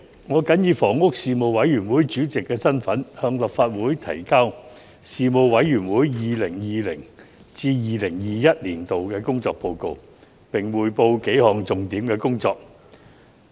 我謹以房屋事務委員會主席的身份，向立法會提交事務委員會 2020-2021 年度的工作報告，並匯報幾項重點工作。